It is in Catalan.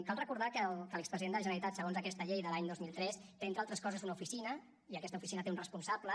cal recordar que l’expresident de la generalitat segons aquesta llei de l’any dos mil tres té entre altres coses una oficina i aquesta oficina té un responsable